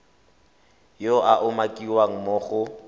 yo a umakiwang mo go